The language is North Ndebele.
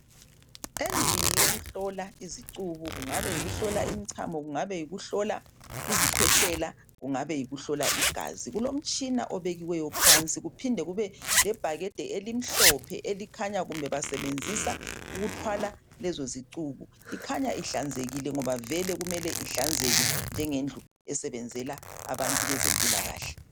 Endlini yokuhlola izicubu kungabe yikuhkola imchamo kungabe yikuhlola izikhwehlela kungabe yikuhlola igazi kulomtshina obekiweyo phansi kuphinde kube lebhakede elimhlophe elikhanya kumbe basebenzisa ukuthwala lezo zicubu ikhanya ihlanzekile ngoba vele kumele ihlanzeke njengendlu esebenzela abantu bezempilakahle.